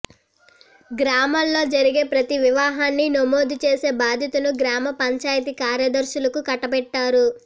గ్రామాల్లో జరిగే ప్రతి వివాహాన్ని నమోదు చేసే బాధ్యతను గ్రామ పంచాయతీ కార్యదర్శులకు కట్టబెట్టారు